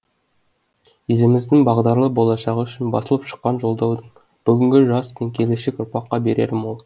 еліміздің бағдарлы болашағы үшін басылып шыққан жолдаудың бүгінгі жас пен келешек ұрпаққа берері мол